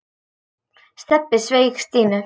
Stebbi sveik Stínu.